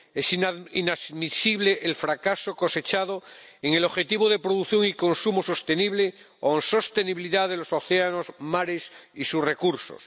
Es inadmisible el fracaso cosechado en el objetivo de producción y consumo sostenible o en sostenibilidad de los océanos, mares y sus recursos.